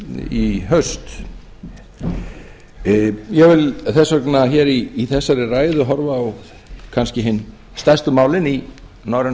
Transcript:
í haust ég vil þess vegna hér í þessari ræðu kannski horfa á hin stærstu málin í norrænu